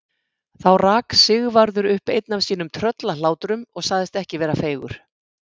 Þá rak Sigvarður upp einn af sínum tröllahlátrum og sagðist ekki vera feigur.